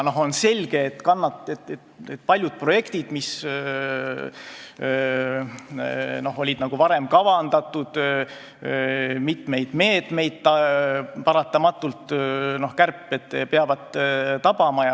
Aga on selge, et paljusid projekte, mis olid varem kavandatud, ja mitmeid meetmeid peavad paratamatult kärped tabama.